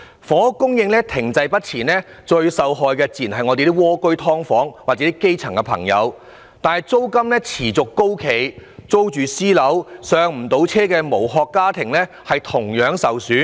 房屋供應停滯不前，最受害的自然是在"蝸居"、"劏房"居住的基層朋友，但租金持續高企，那些租住私樓，無法"上車"的無殼家庭同樣受害。